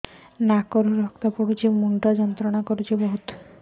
ନାକ ରୁ ରକ୍ତ ପଡ଼ୁଛି ମୁଣ୍ଡ ଯନ୍ତ୍ରଣା କରୁଛି